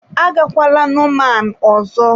Agakwala nomaan ọzọ!